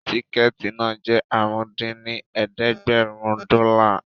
Tíkẹ̀ẹ̀tì náà jẹ́ àrún dín ní ẹ̀ẹ́dẹ́gbẹ́rún dọ́là